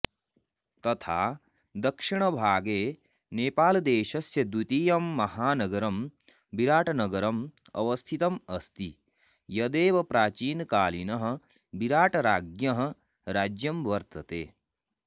तथा दक्षिण भागे नेपालदेशस्य द्वितीयं महानगरं बिराटनगरं अवस्थितं अस्ति यदेव प्राचीनकालिनः विराटराज्ञः राज्यं वर्तते